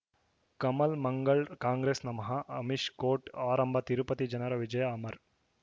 ಕಮಲ್ ಮಂಗಳ್ ಕಾಂಗ್ರೆಸ್ ನಮಃ ಅಮಿಷ್ ಕೋರ್ಟ್ ಆರಂಭ ತಿರುಪತಿ ಜನರ ವಿಜಯ ಅಮರ್